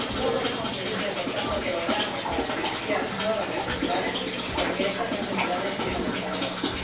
no podemos seguir recortando programas para financiar nuevas necesidades, porque estas necesidades siguen estando ahí.